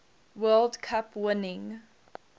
world cup winning